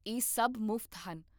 ਇਹ ਸਭ ਮੁਫ਼ਤ ਹਨ